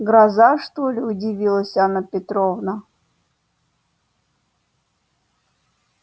гроза что ли удивилась анна петровна